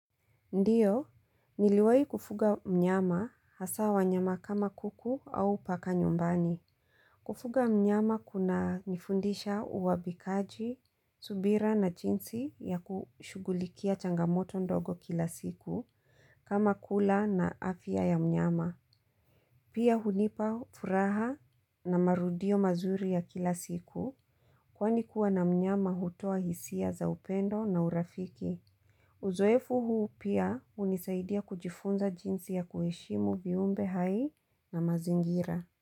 Ndiyo, niliwai kufuga mnyama hasa wanyama kama kuku au paka nyumbani. Kufuga mnyama kuna nifundisha uwabikaji, subira na jinsi ya kushugulikia changamoto ndogo kila siku kama kula na afia ya mnyama. Pia hunipa furaha na marudio mazuri ya kila siku kwani kuwa na mnyama hutua hisia za upendo na urafiki. Uzoefu huu pia unisaidia kujifunza jinsi ya kuheshimu viumbe hai na mazingira.